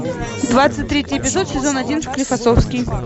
двадцать третий эпизод сезон один склифософский